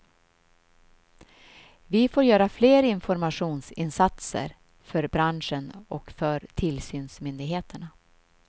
Vi får göra fler informationsinsatser för branschen och för tillsynsmyndigheterna.